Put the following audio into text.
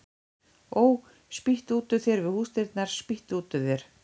Ó, spýttu út úr þér við húsdyrnar, spýttu út úr þér